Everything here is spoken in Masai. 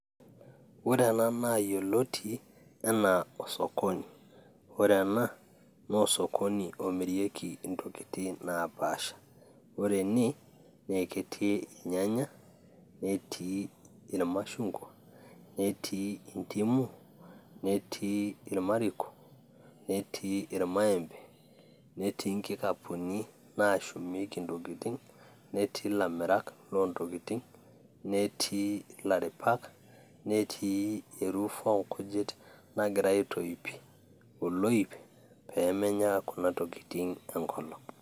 ore ena naa yioloti enaa osokoni ore ena naa osokoni omirieki intokitin naapasha ore ene nee eketii inyanya netii irmashungwa netii indimu netii irmariko netii irmaembe netii inkikapuni naashumieki intokitin netii ilamirak loontokitin netii ilaripak netii e roof oonkujit nagiray aitoip oloip peemenya kuna tokitin enkolong.